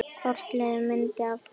Hvort liðið myndi hafa betur?